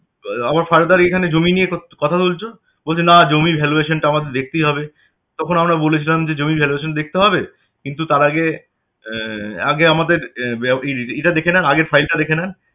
আবার further এখানে জমি নিয়ে কথা তুলছ? বলছে না জমির valuation টা আমাদের দেখতেই হবে তখন আমরা বলেছিলাম যে জামির valuation দেখতে হবে? কিন্তু তার আগে আহ আগে আমাদের আগের ই~টা দেখে নেন আগে file টা দেখে নেন